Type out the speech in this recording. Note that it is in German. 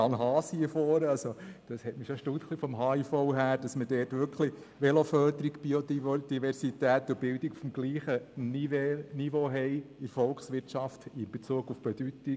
Ich war erstaunt, dass für den Handels- und Industrieverein (HIV) Veloförderung, Biodiversität und Bildung in Bezug auf die Bedeutung für die Volkswirtschaft auf demselben Niveau sind.